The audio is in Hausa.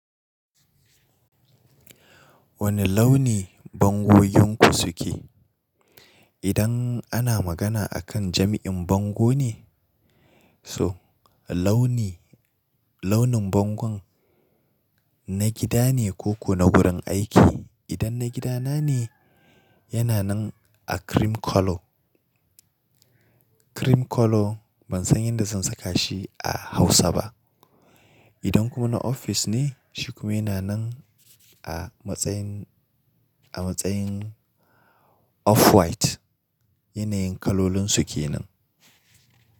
Wane launi bangoginku suke? Idan ana magana akan jami'in bango ne? So launi launin bangon na gida ne ko ku na wurin aiki. Idan na gida na ne, yana nan a cream colour. Cream colour ban san yadda zan saka shi a Hausa ba. Idan kuma na ofis ne, shi kuma yana nan a matsayin a matsayin off white. Yanayin kalolin suke nan.